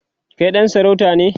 Kai ɗan sarauta ne?